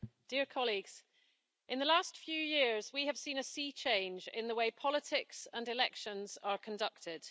Madam President, in the last few years we have seen a sea change in the way politics and elections are conducted.